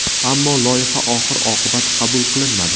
Ammo loyiha oxir-oqibat qabul qilinmadi.